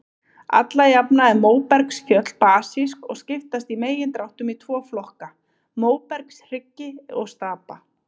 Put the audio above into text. Alla jafna eru móbergsfjöll basísk og skiptast í megindráttum í tvo flokka, móbergshryggi og stapa.